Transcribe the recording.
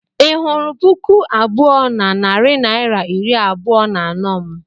Ị hụrụ puku abụọ na narị naira iri abụọ na anọ m?